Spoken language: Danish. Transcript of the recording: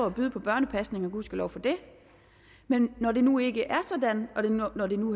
at byde på børnepasning og gudskelov for det men når det nu ikke er sådan og når det nu